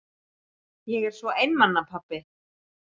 Ég er svo einmana pabbi.